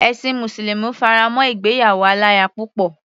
Ẹ̀sin mùsùlùmí fará mọ́ ìgbéyàwó aláya púpọ̀.